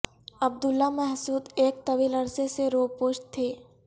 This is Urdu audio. عبداللہ محسود ایک طویل عرصے سے روپوش تھے